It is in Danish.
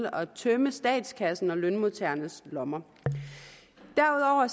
at tømme statskassen og lønmodtagernes lommer derudover